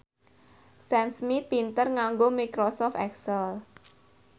Sam Smith pinter nganggo microsoft excel